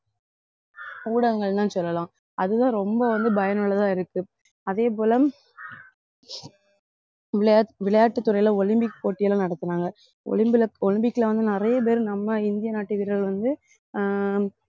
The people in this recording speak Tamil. ஊடகங்கள்லாம் சொல்லலாம் அதுதான் ரொம்ப வந்து பயனுள்ளதா இருக்கு அதே போல விளையாட்~ விளையாட்டுத் துறையில ஒலிம்பிக் போட்டி எல்லாம் நடத்துனாங்க ஒலிம்பிக்ல ஒலிம்பிக்ல வந்து நிறைய பேரு நம்ம இந்திய நாட்டு வீரர்கள் வந்து